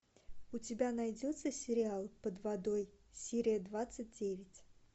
у тебя найдется сериал под водой серия двадцать девять